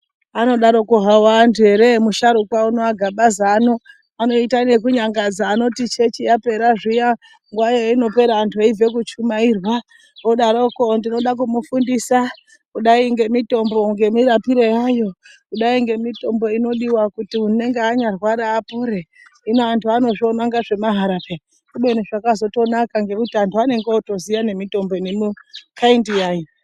Vanodaroko havo vanduu heree, musharuka uno aGabaza ano vanoita nekunyangadza, vanoti church yapera zviyaa, nguwa yainopera vantu veibve kuchumairwa vodaroko ndinoda kumufundisa kudai ngemitombo ngemirapiro yayo, kudai ngemitombo inodiwa kuti unenge anyarwara apore. Hino antu vanozviona kunge zvemaharaa peyaa kubeni zvakazotozonaka nokuti vantu vanenge votoziaa nemitombo nomukaindi yayo.